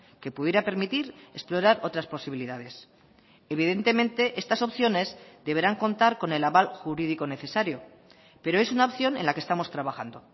que pudiera permitir explorar otras posibilidades evidentemente estas opciones deberán contar con el aval jurídico necesario pero es una opción en la que estamos trabajando